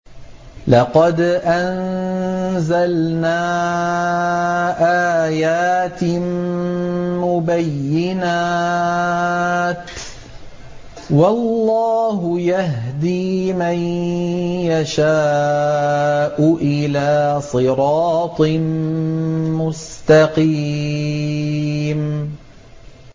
لَّقَدْ أَنزَلْنَا آيَاتٍ مُّبَيِّنَاتٍ ۚ وَاللَّهُ يَهْدِي مَن يَشَاءُ إِلَىٰ صِرَاطٍ مُّسْتَقِيمٍ